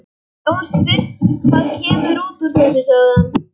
Sjáum fyrst hvað kemur út úr þessu, sagði hann.